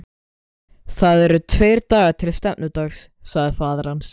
Það eru tveir dagar til stefnudags, sagði faðir hans.